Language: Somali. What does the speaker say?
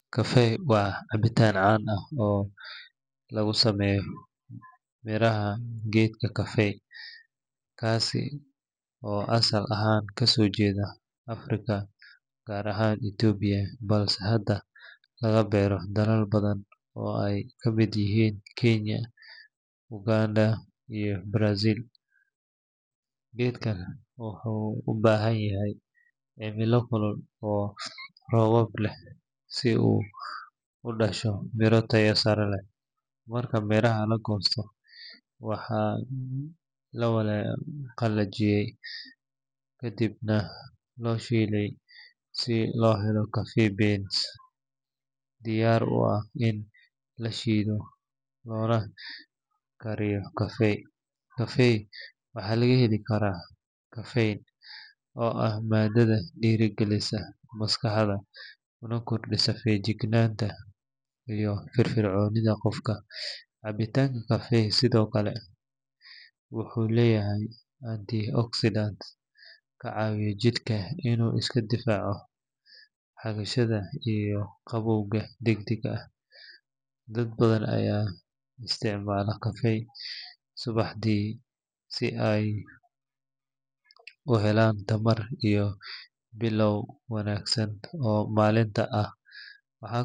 Kafee waa cabitaan caan ah oo laga sameeyo miraha geedka coffee kaasi oo asal ahaan ka soo jeeda Afrika gaar ahaan Itoobiya balse hadda laga beero dalal badan oo ay ka mid yihiin Kiinya, Uganda iyo Brazil. Geedkan wuxuu u baahan yahay cimilo kulul oo roobab leh si uu u dhasho miro tayo sare leh. Marka miraha la goosto, waxaa la qalajiyaa kadibna la shiilaa si loo helo coffee beans diyaar u ah in la shiido loona kariyo kafee. Kafee waxaa laga heli karaa caffeine oo ah maadad dhiirrigelisa maskaxda kuna kordhisa feejignaanta iyo firfircoonida qofka. Cabitaanka kafee sidoo kale wuxuu leeyahay antioxidants ka caawiya jidhka inuu iska difaaco xagashada iyo gabowga degdegga ah. Dad badan ayaa isticmaala kafee subaxdii si ay u helaan tamar iyo bilow wanaagsan oo maalinta ah.